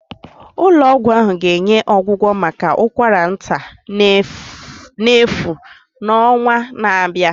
Ụlọ ọgwụ ahụ ga-enye ọgwụgwọ maka ụkwara nta n'efu n'ọnwa na-abịa